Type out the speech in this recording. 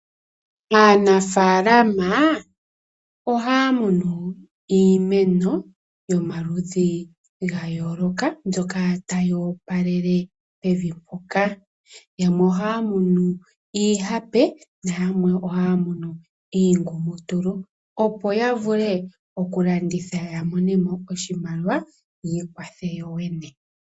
Aanafaalama ohaya munu iimeno yomaludhi ga yooloka mbyoka tayi opalele pevi mpoka. Yamwe ohaya mu iihape noyamwe ohaya munu iingumutulu, opo ya vule okulanditha ya mone mo oshimaliwa, yi ikwathe yoyene.